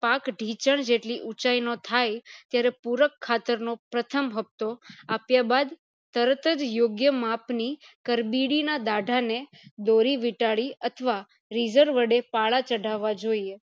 પાક ઠીચનજેટલી ઉચાય નો થાય ત્યારે પુરક ખાતર નો પ્રથમ હપ્તો આપ્યા બાદ તરત યોગ્ય માપ ની કર્બીડી ના દાઢા ને દોરી વીટાળી અથવા વડે પાળા ચઢાવા જોઈએ